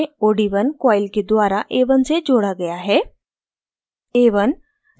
इस परिक्षण में od1 coil के द्वारा a1 से जोड़ा गया है